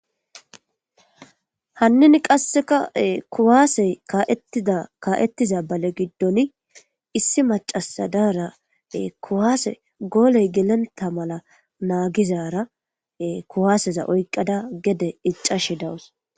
Hannin qasseka kuwaasey ka7ettida kaa7ettiza bale giddon issi macasadara kuwaase gooley gelenta mala naagizara kuwaaseza oyqada gede iccashe dawus.